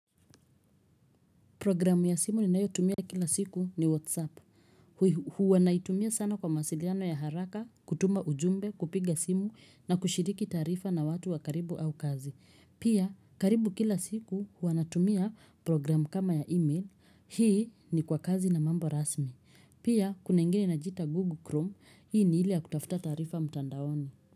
Programu ya simu ninayotumia kila siku ni Whatsapp. Huwa naitumia sana kwa mawasiliano ya haraka, kutuma ujumbe, kupiga simu na kushiriki taarifa na watu wa karibu au kazi. Pia, karibu kila siku huwa natumia programu kama ya email. Hii ni kwa kazi na mambo rasmi. Pia, kuna ingine inajiita Google Chrome. Hii ni ile ya kutafuta taarifa mtandaoni.